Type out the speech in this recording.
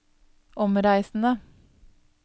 omreisende